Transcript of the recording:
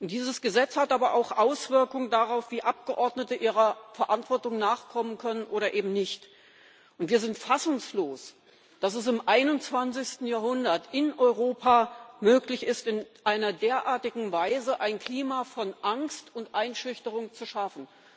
Dieses Gesetz hat aber auch Auswirkungen darauf, wie Abgeordnete ihrer Verantwortung nachkommen können oder eben nicht. Wir sind fassungslos, dass es im 21. Jahrhundert in Europa möglich ist, in einer derartigen Weise ein Klima von Angst und Einschüchterung zu schaffen.